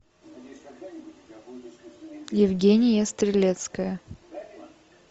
евгения стрелецкая